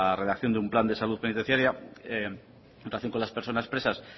redacción de un plan de salud penitenciaria en relación con las personas presas